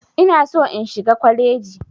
Ina so in shiga kwaleji.